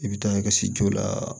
I bɛ taa i ka se jo la